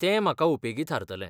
तें म्हाका उपेगी थारतलें.